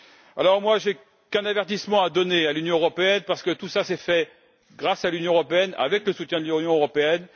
Alors, moi, je n'ai qu'un avertissement à donner à l'Union européenne, parce que tout cela s'est fait grâce à l'Union européenne, avec le soutien de l'Union européenne.